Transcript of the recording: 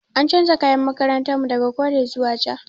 An canza tufafin makarantar mu daga kore zuwa ja.